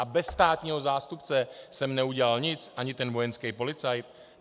A bez státního zástupce jsem neudělal nic, ani ten vojenský policajt?